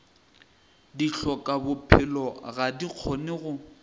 dihlokabophelo ga di kgone go